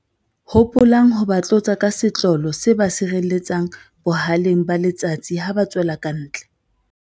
Hopolang ho ba tlotsa ka setlolo se ba sireletsang boha-leng ba letsatsi ha ba tswela kantle.